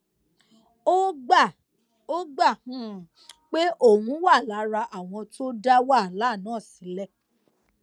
ó gbà ó gbà um pé òun wà lára àwọn tó dá wàhálà náà sílè